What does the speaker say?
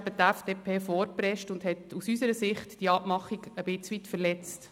Nachher ist die FDP vorgeprescht und hat aus unserer Sicht diese Abmachung ein Stück weit verletzt.